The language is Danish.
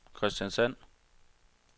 Kristiansand